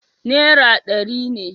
Nera dari ne